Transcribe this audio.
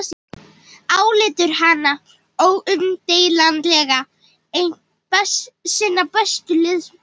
Álítur hana óumdeilanlega einn sinna bestu listamanna.